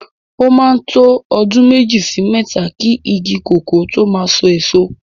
O máa ń tó ọdún méjì sí mẹ́ta ki igi kòkó tó máa so èso.